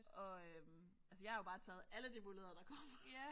Og øh altså jeg har jo bare taget alle de muligheder der kom